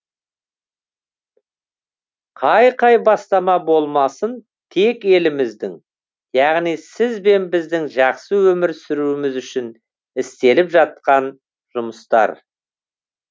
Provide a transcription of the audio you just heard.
қай қай бастамасы болмасын тек еліміздің яғни сіз бен біздің жақсы өмір сүруіміз үшін істеліп жатқан жұмыстар